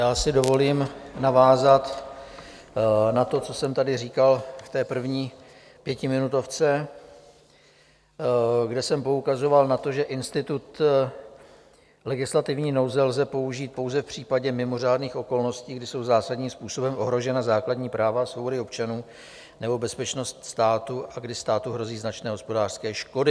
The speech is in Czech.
Já si dovolím navázat na to, co jsem tady říkal v té první pětiminutovce, kde jsem poukazoval na to, že institut legislativní nouze lze použít pouze v případě mimořádných okolností, kdy jsou zásadním způsobem ohrožena základní práva a svobody občanů nebo bezpečnost státu a kdy státu hrozí značné hospodářské škody.